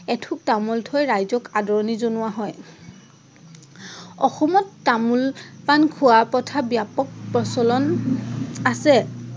এঠোক তামোল থৈ ৰাইজক আদৰণি জনোৱা হয়। অসমত তামোল পাণ খোৱাৰ প্ৰথা ব্যাপক প্ৰচলন আছে।